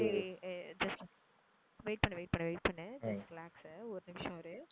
ஏ ஏ ஏய் just wait பண்ணு wait பண்ணு wait பண்ணு just relax உ ஒரு நிமிஷம் இரு